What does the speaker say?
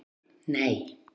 Sonur: Nei.